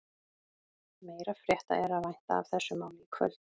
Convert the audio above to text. Meiri frétta er að vænta af þessu máli í kvöld.